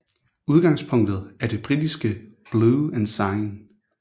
Udgangspunktet er det britiske Blue Ensign